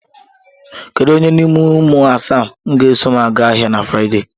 Kedu onye n'ime ụmụ asa m ga-eso m aga ahịa na Frịde?